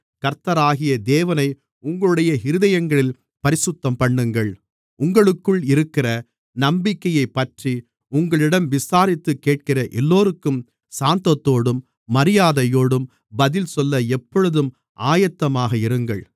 கர்த்தராகிய தேவனை உங்களுடைய இருதயங்களில் பரிசுத்தம்பண்ணுங்கள் உங்களுக்குள் இருக்கிற நம்பிக்கையைப்பற்றி உங்களிடம் விசாரித்துக் கேட்கிற எல்லோருக்கும் சாந்தத்தோடும் மரியாதையோடும் பதில்சொல்ல எப்பொழுதும் ஆயத்தமாக இருங்கள்